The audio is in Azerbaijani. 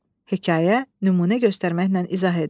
Hekayə, nümunə göstərməklə izah edin.